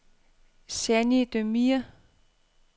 Jeannie Demir